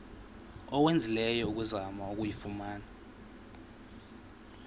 owenzileyo ukuzama ukuyifumana